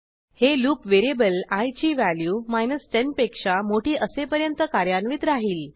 हे loop variable I ची value 10 पेक्षा मोठी असेपर्यंत कार्यान्वित राहिल